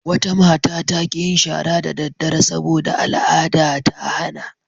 Wata mata ta ƙi yin shara da daddare sabo da al'ada ta hana.